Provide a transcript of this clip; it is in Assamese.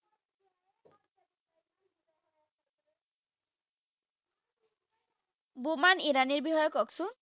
বুমন ইৰাণীৰ বিষয়ে ককচোন